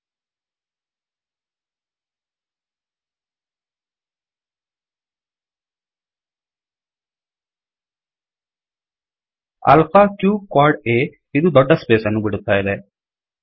alpha q qad ಆ alpha q quad ಆ ಇದು ದೊಡ್ದ ಸ್ಪೇಸನ್ನು ಬಿಡುತ್ತಾಇದೆ